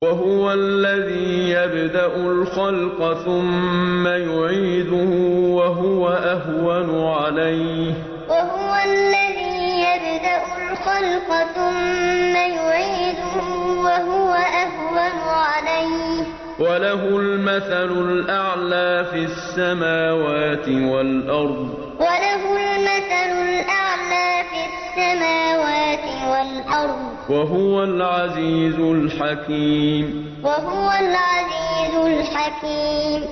وَهُوَ الَّذِي يَبْدَأُ الْخَلْقَ ثُمَّ يُعِيدُهُ وَهُوَ أَهْوَنُ عَلَيْهِ ۚ وَلَهُ الْمَثَلُ الْأَعْلَىٰ فِي السَّمَاوَاتِ وَالْأَرْضِ ۚ وَهُوَ الْعَزِيزُ الْحَكِيمُ وَهُوَ الَّذِي يَبْدَأُ الْخَلْقَ ثُمَّ يُعِيدُهُ وَهُوَ أَهْوَنُ عَلَيْهِ ۚ وَلَهُ الْمَثَلُ الْأَعْلَىٰ فِي السَّمَاوَاتِ وَالْأَرْضِ ۚ وَهُوَ الْعَزِيزُ الْحَكِيمُ